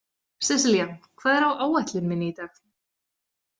Seselía, hvað er á áætlun minni í dag?